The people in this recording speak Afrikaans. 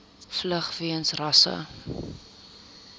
vlug weens rasse